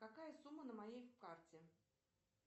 какая сумма на моей карте